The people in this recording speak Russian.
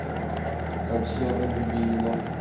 татьяна дубинина